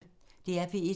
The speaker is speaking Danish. DR P1